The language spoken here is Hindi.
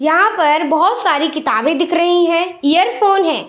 यहाँ पर बहोत सारी किताबें दिख रही है इयरफोन है।